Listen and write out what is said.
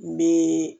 N bɛ